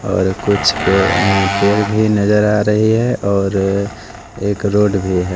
कुछ पे अं पेड़ भी नज़र आ रही है और एक रोड भी है।